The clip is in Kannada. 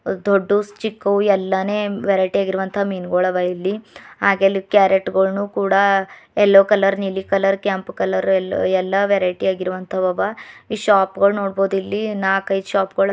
ದೊಡ್ಡವು ಚಿಕ್ಕವು ಎಲ್ಲಾನೆ ವ್ಯಾರೈಟಿ ಆಗಿರುವಂತ ಮೀನುಗಳ ಅವ ಇಲ್ಲಿ ಹಾಗೆ ಇಲ್ಲಿ ಕ್ಯಾರೇಟ್ ಗೋಳನ್ನು ಕೂಡ ಎಲ್ಲೋ ಕಲರ್ ನೀಲಿ ಕಲರ್ ಕೆಂಪು ಕಲರ್ ಎಲ್ ಎಲ್ಲಾ ವ್ಯಾರಿಟಿಯಾಗಿ ಇರುವಂತ ಅವ ಈ ಶೋಪ್ ಗಳ ನೋಡ್ಬಾದ್ ಇಲ್ಲಿ ನಾಕೈದು ಸೋಪ್ ಗೊಳ್--